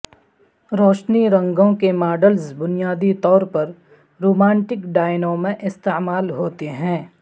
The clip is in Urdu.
روشنی رنگوں کے ماڈلز بنیادی طور پر رومانٹک ڈائنوں میں استعمال ہوتے ہیں